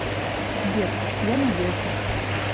сбер я надежда